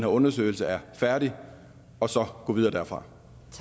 undersøgelse er færdig og så gå videre derfra